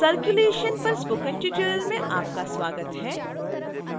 circulation पर spoken tutorial में आपका स्वागत है